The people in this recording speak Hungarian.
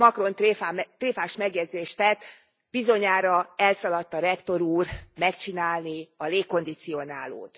Macron tréfás megjegyzést tett Bizonyára elszaladt a rektor úr megcsinálni a légkondicionálót.